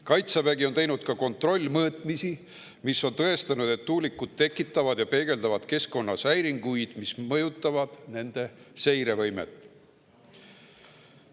Kaitsevägi on teinud ka kontrollmõõtmisi, mis on tõestanud, et tuulikud tekitavad ja peegeldavad keskkonnas häiringuid, mis mõjutavad nende seirevõimet.